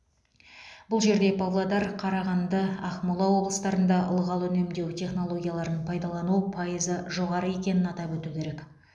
бұл жерде павлодар қарағанды ақмола облыстарында ылғал үнемдеу технологияларын пайдалану пайызы жоғары екенін атап өту керек